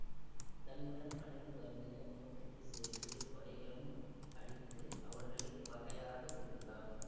தன்னுடன் பழகி வருகின்ற போத்துக்கீசர்களுக்குக் கொடைகளும் அளித்து அவர்களை பகையாது இருந்தான்